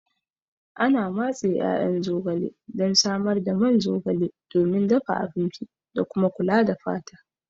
Ana matse ƴaƴan zogale don samar da man zogale domin dafa abinci da kuma kula da fata.